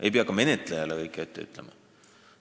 Ei pea ka menetlejale kõike ette ütlema!